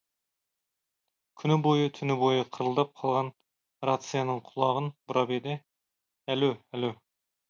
күні бойы түні бойы қырылдап қалған рацияның құлағын бұрап еді әлө әлө